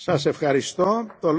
Panie Przewodniczący!